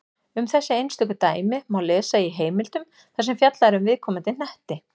Um þessi einstöku dæmi má lesa í heimildum þar sem fjallað er um viðkomandi hnetti.